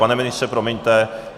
Pane ministře, promiňte.